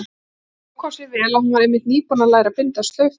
Nú kom sér vel að hún var einmitt nýbúin að læra að binda slaufu.